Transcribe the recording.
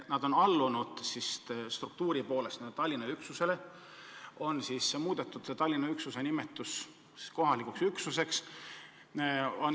Nad on töötanud Tallinna struktuuriüksuse alluvuses ja nende puhul on lihtsalt Tallinna üksus nimetatud kohalikuks üksuseks.